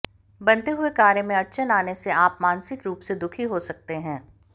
बनते हुए कार्य में अड़चन आने से आप मानसिक रूप से दुखी हो सकते हैं